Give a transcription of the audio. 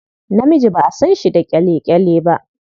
Namiji ba a san shi da ƙyale-ƙyale ba.